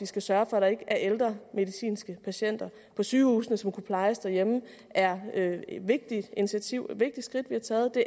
skal sørge for at der ikke er ældre medicinske patienter på sygehusene som kunne plejes derhjemme er et vigtigt initiativ et vigtigt skridt vi har taget det